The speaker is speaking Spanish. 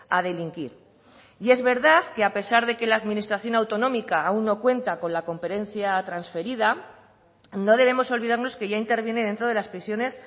a delinquir y es verdad que a pesar de que la administración autonómica aún no cuenta con la competencia transferida no debemos olvidarnos que ya interviene dentro de las prisiones